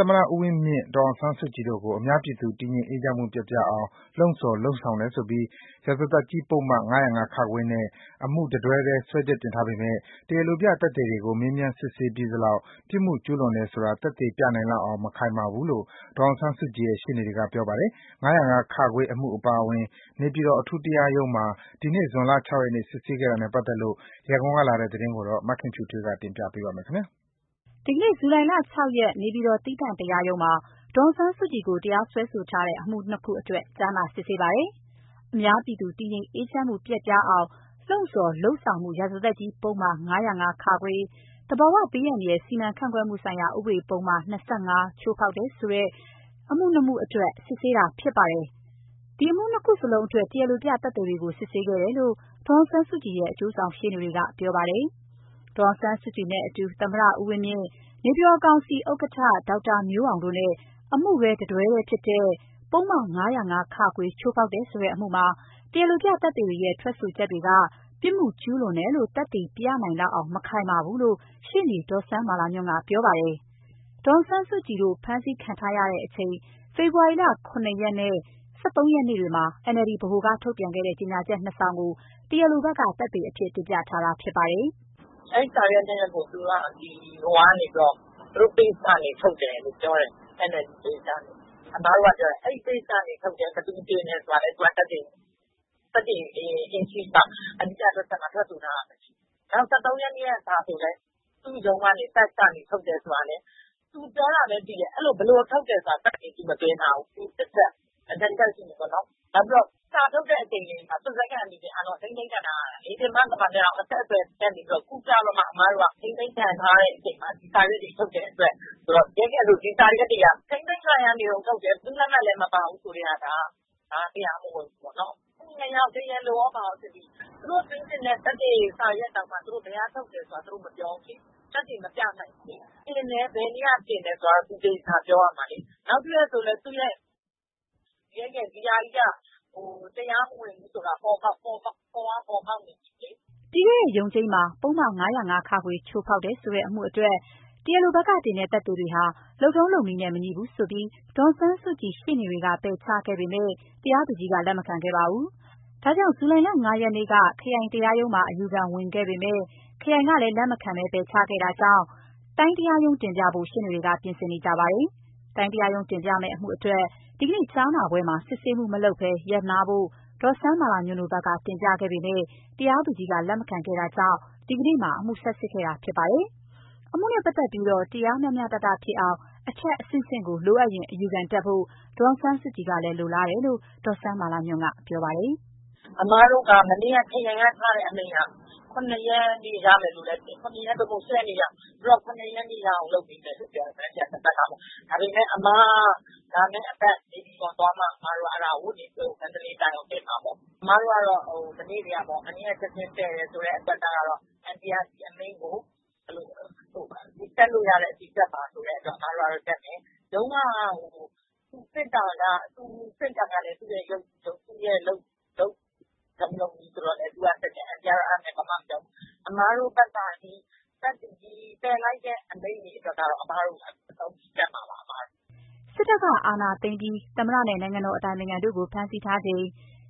ာ်သမ္မတ ဦးဝင်းမြင့်၊ဒေါ်အောင်ဆန်းစုကြည်တို့ကို အများပြည်သူ တည်ငြိမ်အေးချမ်းမှု ပျက်ပြားအောင်လှုံ့ဆော်၊ လုပ်ဆောင်တယ်ဆိုပြီး ရာဇသတ်ကြီးပုဒ်မ ၅၀၅ နဲ့ အမှုတတွဲထဲ စွဲချက်တင်ထားပေမဲ့ တရားလိုပြသက်သေတွေကို မေးမြန်းစစ်ဆေးပြီးသလောက် ပြစ်မှုကျူးလွန်တယ်ဆိုတာ သက်သေပြနိုင်လောက်အောင် မခိုင်မာဘူးလို့ ဒေါ်အောင်ဆန်းစုကြည်ရဲ့ရှေ့နေတွေက ပြောပါတယ်။ ၅၀၅ အမှုအပါအဝင် နေပြည်တော်အထူးတရားရုံးမှာ ဒီနေ့ ဇွန်လ ၆ ရက်နေ့ စစ်ဆေးခဲ့တာနဲ့ပါတ်သက်လို့ ရန်ကုန်ကလာတဲ့သတင်းကို မခင်ဖြူထွေးပြောပြပါမယ်။ ဒီနေ့ ဇူလိုင် ၆ ရက်၊ နေပြည်တော် သီးသန့်တရားရုံးမှာ ဒေါ်အောင်ဆန်းစုကြည်ကို တရားစွဲထားတဲ့ အမှု ၂ ခုအတွက် ကြားနာစစ်ဆေးပါတယ်။ အများပြည်သူ တည်ငြိမ်အေးချမ်းမှု ပျက်ပြားအောင် လှုံ့ဆော်၊ လုပ်ဆောင်မှု ရာဇသတ်ကြီးပုဒ်မ ၅၀၅ ၊ သဘာဝဘေးဒဏ် စီမံခန့်ခွဲမှု ဥပဒေ ပုဒ်မ ချိုးဖောက်တယ်ဆိုတဲ့ အမှု ၂ ခုအတွက် စစ်ပါတယ်။ အမှု ၂ ခုလုံးအတွက် တရားလိုပြသက်သေတွေကို စစ်ဆေးခဲ့တယ်လို့ ဒေါ်အောင်ဆန်းစုကြည်ရဲ့ အကျိုးဆောင်ရှေ့နေတွေက ပြောပါတယ်။ ဒေါ်အောင်ဆန်းစုကြည်နဲ့အတူ သမ္မတ ဦးဝင်းမြင့်၊ နေပြည်တော်ကောင်စီဥက္ကဋ္ဌ ဒေါက်တာမျိုးအောင်တို့နဲ့ အမှုတတွဲထဲဖြစ်တဲ့ ပုဒ်မ ၅၀၅ ချိုးဖောက်တယ်ဆိုတဲ့ အမှုမှာ တရားလိုပြသက်သေတွေရဲ့ ထွက်ဆိုချက်တွေက ပြစ်မှုကျူးလွန်တယ်လို့ သက်သေပြနိုင်လောက်အောင် မခိုင်မာဘူးလို့ ရှေ့နေ ဒေါ်စန်းမာလာညွှန့်ကပြောပါတယ်။ ဒေါ်အောင်ဆန်းစုကြည်တို့ ဖမ်းဆီးခံထားရချိန်၊ ဖေဖော်ဝါရီလ ၇ ရက်နဲ့ ၁၃ ရက်နေ့တွေမှာ NLD ဗဟိုက ထုတ်ပြန်ခဲ့တဲ့ ကြေညာချက် ၂ စောင်ကို တရားလိုဘက်က သက်သေအဖြစ် တင်ပြထားတာဖြစ်ပါတယ်။ "အဲစာရွက် ၂ရွက်ကို သူတို့ Page ကနေထုတ်တယ်ပြောတယ်။ NLD Page တင်တယ်ပေါ့။ အဲတော့မေးတယ်။ အဲကနေထုတ်တယ်၊ ဘယ်သူတင်တယ်ဆိုတာကို ထွက်ဆိုချက်မှာ ထွက်ဆိုထားတာ မရှိဘူး။ နောက် ၁၃ရက်နေ့ကစာ ဆိုရင်လည်း သူ့ရုံးကနေ Fax ကနေထုတ်တယ်ပြောတယ်။ သူပြောတာဘဲသိတယ်။ ဘယ်လိုထုတ်တယ်ဆိုတာသက်သေမသွင်းထားဘူး။ ၂ချက်ရှိပြီပေါ့နော်။ နောက်ပြီးတော့ စာထုတ်ချိန်မှာ သူတို့တွေကဖမ်းခံထားရတာ။ ပြင်ပကမ္ဘာနဲ့တောင် အဆက်အသွယ် ပြတ်နေတာ။ ခုကျတော့မှထိန်းသိမ်းခံရချိန်မှာ စာထုတ်တဲ့အတွက်ဆိုတော့ ထိန်းသိမ်းခံရတုန်းထွက်တယ်။ ဘယ်သူ့လက်မှတ်လဲမပါဘူး။ ဆိုထဲကတရားမဝင်ဘူးပေါ့။ တရားလိုကော တရားလိုပြသက်သေ ၂ယောက်စစ်ပြီးပြီ။ သူတို့သွင်းတဲ့စာကို ဘယ်ကထုတ်ပါတယ် ဆိုတာကိုတောင် သူတို့မပြောဘူး။ သက်သေမပြနိုင်ဘူးလေ။ တင်တယ် ဘယ်နေ့ကတင်တယ် ဆိုတာ သူသေချာပြောရမှာလေ။ နောက်တချက်က ဒါကြီးကတရားမဝင်ဘူးဆိုတာကို ပေါ်ပေါက်နေ ပြီလေ" ပြီးခဲ့တဲ့ ရုံးချိန်းမှာ ပုဒ်မ ၅၀၅ ချိုးဖောက်တယ်ဆိုတဲ့ အမှုအတွက် တရားလိုတင်တဲ့ သက်သေတွေဟာ လုပ်ထုံး လုပ်နည်းနဲ့ မညီဘူးဆိုပြီး ဒေါ်အောင်ဆန်းစုကြည်ရှေ့နေတွေက ပယ်ချခဲ့ပေမဲ့ တရားသူကြီးက လက်မခံခဲ့ပါဘူး။ ဒါကြောင့် မနေ့ ဇူလိုင် ၅ ရက်နေ့က ခရိုင်တရားရုံးမှာ အယူခံဝင်ခဲ့ပေမယ့် ခရိုင်ကလည်းလက်မခံဘဲပယ်ချလိုက်တာကြောင့် တိုင်းတရားရုံးတင်ပြဖို့ ရှေ့နေတွေဘက်က ပြင်ဆင်နေပါတယ်။ တိုင်းတရားရုံးတင်ပြမယ့် အမှုအတွက် ဒီကနေ့ ကြားနာပွဲမှာ စစ်ဆေးမှုမလုပ်ဘဲ ရပ်နားဖို့ ဒေါ်စန်းမာလာ ညွှန့်တို့ဘက်ကတင်ပြခဲ့ပေမယ့် တရားသူကြီးက လက်မခံခဲ့တာကြောင့် ဒီကနေ့မှာ အမှုဆက်စစ်ခဲ့တာဖြစ်ပါတယ်။ အမှုနဲ့ပတ်သတ်လို့ တရားမ ျှမ ျှတတဖြစ်အောင် အထက်အဆင့်ဆင့်ကို လိုအပ်ရင် အယူခံတက်ဖို့ ဒေါ်အောင် ဆန်းစုကြည်ကလည်းလိုလားတယ်လို့ ဒေါ်စန်းမာလာညွှန့်က ပြောပါတယ်။ " အမတို့ကမနေ့က ခရိုင်ကချရတဲ့ အမိန့်က ၇ရက် သို့မဟုတ် ၈ရက်နေ့မှာရမယ်ပြောတယ်။ မနက်ဖန် သဘက်ခါပေါ့။ ဒါပေမယ့် အမတို့က လာမယ့်အပတ်နေပြည်တော်သွားမှ မန္တလေးတိုင်းကိုတင်မှာပေါ့။ မနေ့ကအမိန့်ကို ပယ်တယ်ဆိုတဲ့ အတွက်ကတော့ အန်တီက တက်လို့ရတဲ့အထိတက်ပါဆိုတဲ့ အတွက် အမတို့ကတော့တက်မယ်။ စစ်တာကသူ့ရဲ့လုပ်ထုံးလုပ်နည်းပေါ့။ အဲဒါကိုတော့အန်တီကဘာမှမပြောဘူး။ အမတို့ကတော့ပယ်လိုက်တာတွေအတွက်ကတော့ အမတို့အဆုံးထိတက်မှာပါ" စစ်တပ်ကအာဏာသိမ်းပြီး သမ္မတနဲ့ နိုင်ငံတော်အတိုင်ပင်ခံတို့ကို ဖမ်းဆီးထားစဉ်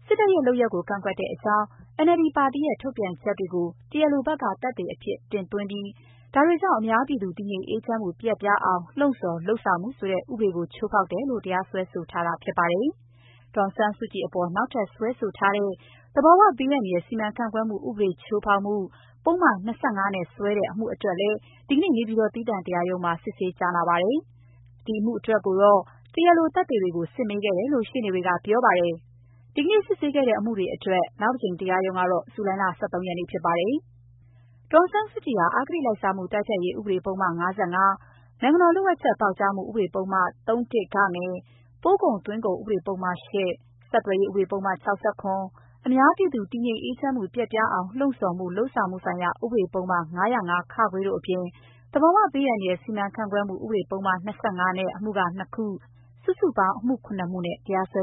စစ်တပ်ရဲ့ လုပ်ရပ်ကို ကန့်ကွက်ကြောင်း NLD ပါတီရဲ့ ထုတ်ပြန်ချက်တွေကို တရားလိုဘက်က သက်သေအဖြစ် တင်သွင်းပြီး ဒါတွေကြောင့် အများပြည်သူ တည်ငြိမ်အေးချမ်းမှု ပျက်ပြားအောင်လှုံဆော်မှု၊ လုပ်ဆောင် မှု ဆိုတဲ့ ဥပဒေကိုချိုးဖောက်တယ်ဆိုပြီး တရားစွဲတာဖြစ်ပါတယ်။ ဒေါ်အောင်ဆန်းစုကြည်အပေါ် နောက်ထပ်စွဲဆိုထားတဲ့ သဘာဝဘေး အန္တ ရာယ် စီမံခန့်ခွဲမှုဥပဒေ ချိုးဖောက်မှုပုဒ်မ နဲ့စွဲတဲ့အမှုအတွက်လည်း ဒီနေ့ နေပြည်တော် သီးသန့်တရားရုံးမှာ စစ်ဆေးကြား နာခဲ့ပါတယ်။ ဒီအမှုအတွက်တော့ တရားလိုသက်သေ တွေကိုစစ်မေးခဲ့တယ်လို့ ရှေ့နေတွေက ပြောပြပါတယ်။ ဒီနေ့ စစ်ဆေးခဲ့တဲ့ အမှုတွေအတွက် နောက်တကြိမ်ရုံးချိန်း ကတော့ ဇူလိုင်လ ၁၃ ရက်နေ့ဖြစ်ပါတယ်။ ဒေါ်အောင်ဆန်းစုကြည်ဟာ အဂတိလိုက်စားမှု တိုက်ဖျက်ရေးဥပဒေပုဒ်မ ၊ နိုင်ငံတော်လှို့ဝှက်ချက် ပေါက်ကြားမှု ဥပဒေပုဒ်မ ၃ ၊ ပို့ကုန်သွင်းကုန်ဥပဒပုဒ်မ ၊ ဆက်သွယ်ရေး ဥပဒေ ပုဒ်မ ၊ အများပြည်သူ တည်ငြိမ်အေးချမ်းမှု ပျက်ပြားအောင်လှုံဆော်မှု လုပ်ဆောင်မှုဆိုင်ရာ ဥပဒေပုဒ်မ ၅၀၅ ၊ တို့ အပြင် သဘာဝ ဘေးအန္တရာယ် စီမံခန့်ခွဲမှု ဥပဒေ ပုဒ်မ နဲ့ အမှု ၂ ခု၊ စုစုပေါင်း ၇ မှုနဲ့ တရားစွဲ